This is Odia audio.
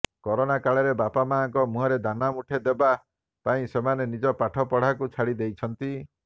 କରୋନା କାଳରେ ବାପାମାଁଙ୍କ ମୁହଁରେ ଦାନା ମୁଠେ ଦେବା ପାଇଁ ସେମାନେ ନିଜ ପାଠ ପଢାକୁ ଛାଡି ଦେଇଛନ୍ତି